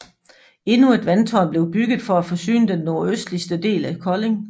Endnu et vandtårn blev bygget for at forsyne den nordøstligste del af Kolding